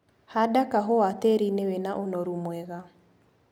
Handa kahũa tĩrinĩ wĩna ũnoru mwega.